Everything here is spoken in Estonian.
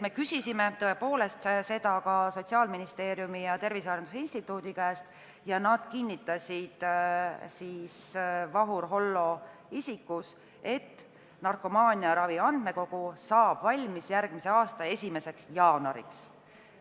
Me küsisime seda ka Sotsiaalministeeriumi ja Tervise Arengu Instituudi esindajate käest ning Vahur Hollo kinnitas, et narkomaaniaravi andmekogu saab valmis järgmise aasta 1. jaanuariks.